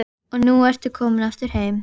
Og nú ertu komin aftur heim?